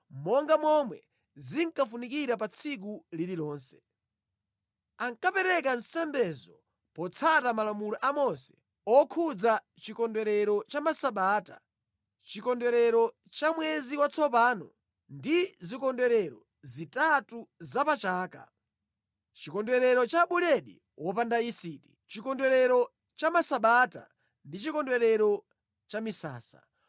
monga momwe zinkafunikira pa tsiku lililonse. Ankapereka nsembezo potsata malamulo a Mose okhudza chikondwerero cha Masabata, chikondwerero cha Mwezi Watsopano ndi zikondwerero zitatu za pa chaka: Chikondwerero cha Buledi Wopanda yisiti, Chikondwerero cha Masabata ndi Chikondwerero cha Misasa.